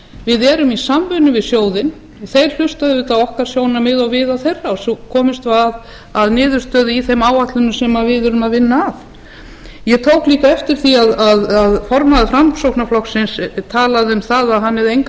við erum í samvinnu við sjóðinn og þeir hlusta auðvitað á okkar sjónarmið og við á þeirra og svo komumst við að niðurstöðu í þeim áætlunum sem við erum að vinna að ég tók líka eftir því að formaður framsóknarflokksins talaði um að hann hefði enga trú